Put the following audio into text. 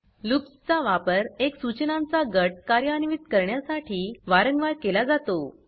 loops चा वापर एक सूचनांचा गट कार्यान्वित करण्यासाठी वारंवार केला जातो